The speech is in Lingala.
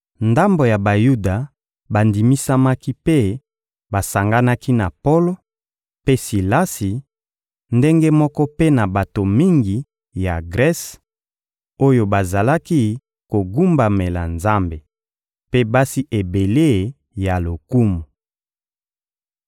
Ndambo ya Bayuda bandimisamaki mpe basanganaki na Polo mpe Silasi; ndenge moko mpe na bato mingi ya Grese, oyo bazalaki kogumbamela Nzambe, mpe basi ebele ya lokumu.